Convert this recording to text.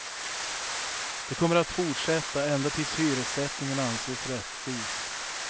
Det kommer att fortsätta ända tills hyressättningen anses rättvis.